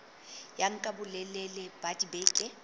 ya nka bolelele ba dibeke